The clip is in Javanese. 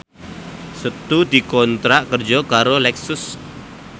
Setu dikontrak kerja karo Lexus